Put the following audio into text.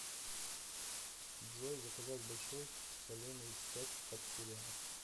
джой заказать большой соленый сет под сериал